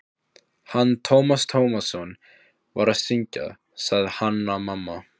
Hann hafði áður spurt mig út í rannsóknina.